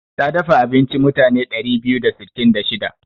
Ta dafa abinci mutane ɗari biyu da sittin da shida.